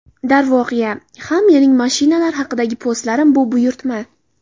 Darvoqe, ha – mening mashinalar haqidagi postlarim bu buyurtma.